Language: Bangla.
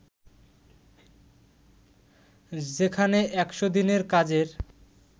যেখানে ১০০ দিনের কাজের